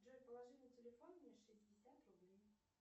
джой положи на телефон мне шестьдесят рублей